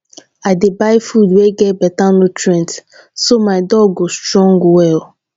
i dey buy food wey get better nutrients so my dog go strong well